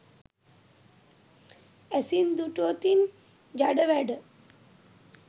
ඇසින් දුටුවොතින් ජඩ වැඩ